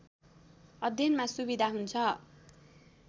अध्ययनमा सुविधा हुन्छ।